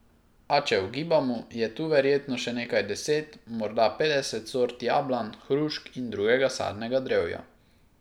A če ugibamo, je tu verjetno še nekaj deset, morda petdeset sort jablan, hrušk in drugega sadnega drevja.